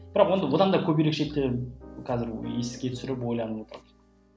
бірақ онда одан да көп ерекшеліктер қазір еске түсіріп ойланып отырмын